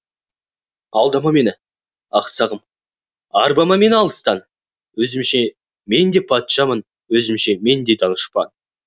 алдама мені ақ сағым арбама мені алыстан өзімше мен де патшамын өзімше мен де данышпан